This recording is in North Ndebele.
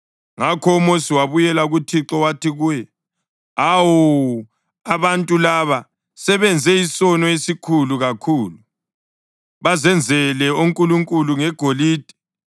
Ngakho uMosi wabuyela kuThixo wathi kuye, “Awu, abantu laba sebenze isono esikhulu kakhulu. Bazenzele onkulunkulu ngegolide.